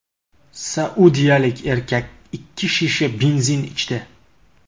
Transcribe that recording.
Saudiyalik erkak ikki shisha benzin ichdi .